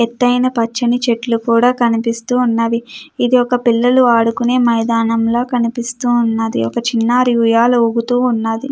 ఎత్తయిన పచ్చని చెట్లు కూడా కనిపిస్తూ ఉన్నది. ఇది ఒక పిల్లలు ఆడుకునే మైదానంలో కనిపిస్తూ ఉన్నది. ఒక చిన్నారి ఉయ్యాల ఊగుతూ ఉన్నది.